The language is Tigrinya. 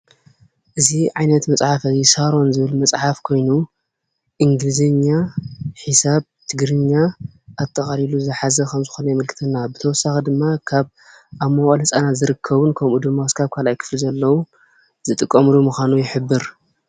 እዚ ዓይነት መፅሓፍ ሳሮን ዝብል መፅሓፍ ኮይኑ እንግሊዘኛ፣ ሒሳብ፣ ትግርኛ ኣጠቓሊሉ ዝሓዘ ከምዝኾነ የመልክተና፡፡ ብተወሳኺ ድማ ካብ ኣብ መዋእለ ህፃናት ዝርከቡ ከምኡ ድማ ካልኣይ ክፍሊ ዝጥቀምሉ ምዃኑ ይሕብር፡፡